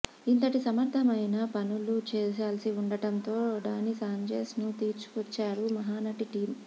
ఇంతటి సమర్ధమైన పనులు చేయాల్సి ఉండడంతో డాని సాంచెజ్ ను తీసుకొచ్చారు మహానటి టీం